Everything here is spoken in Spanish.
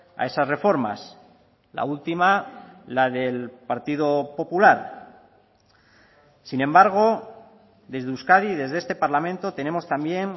a esas reformas la última la del partido popular sin embargo desde euskadi desde este parlamento tenemos también